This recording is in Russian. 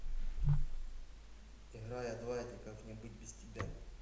играй адвайта как мне быть без тебя